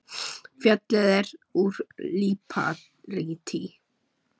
Fjallið er úr líparíti.